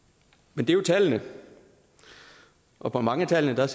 men det er jo tallene og mange af tallene